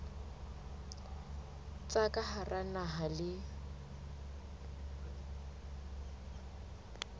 tsa ka hara naha le